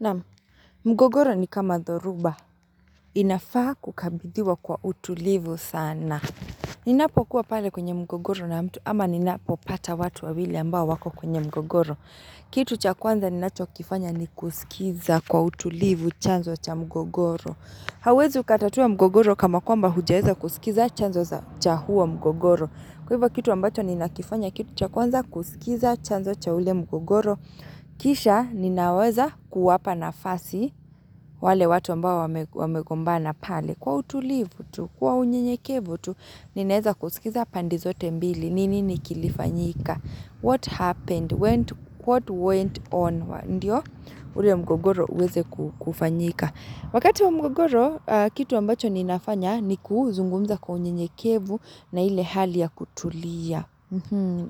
Naam mgogoro ni kama dhoruba inafaa kukabidhiwa kwa utulivu sana. Ninapo kuwa pale kwenye mgogoro na mtu ama ninapopata watu wawili ambao wako kwenye mgogoro. Kitu cha kwanza ninacho kifanya ni kusikiza kwa utulivu chanzo cha mgogoro. Hauwezi ukatatua mgogoro kama kwamba hujaeza kusikiza chanzo cha huo mgogoro. Kwa hivyo kitu ambacho ninakifanya kitu cha kwanza kusikiza chanzo cha ule mgogoro. Kisha ninaweza kuwapa nafasi wale watu ambao wamegombana pale Kwa utulivu tu, kwa unyenyekevu tu, ninaweza kusikiza pande zote mbili ni nini kilifanyika? What happened? What went on? Ndiyo? Ule mgogoro uweze kufanyika Wakati wa mgogoro, kitu ambacho ninafanya ni kuzungumza kwa unyenyekevu na ile hali ya kutulia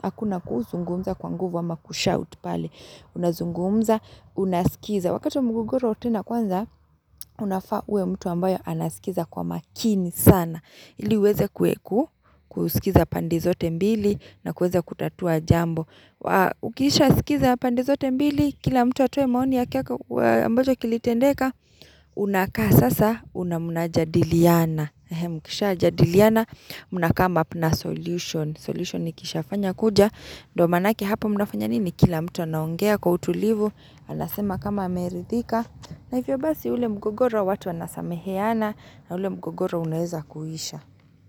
Hakuna kuzungumza kwa nguvu ama kushout pale Unazungumza, unaskiza Wakati mgogoro tena kwanza unafaa uwe mtu ambayo anaskiza kwa makini sana ili uweze kusikiza pande zote mbili na kuweza kutatua jambo Ukisha sikiza pande zote mbili Kila mtu atoe maoni yake ya kilitendeka Unakaa sasa na mnajadiliana Mkishajadiliana mnakamup na solution solution ikiisha fanya kuja ndo maanake hapa mnafanya nini kila mtu anaongea kwa utulivu Anasema kama ameridhika na hivyo basi ule mgogoro watu wanasameheana na ule mgogoro unaweza kuisha.